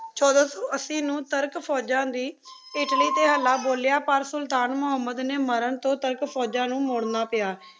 ਛੋਡਾ ਸੋ ਅਸੀਂ ਨੂ ਤੁਰਕ ਫੋਜਾਂ ਦੇ ਇਟਲੀ ਟੀ ਹਾਲਾ ਬੋਲਿਯਾ ਪਰ ਸੁਲਤਾਨ ਮੁਹਮ੍ਮਦ ਨੀ ਮਾਰਨ ਤੋ ਤਕ ਫੋਜਾਂ ਨੂ ਮਾਰਨਾ ਪਾਯਾ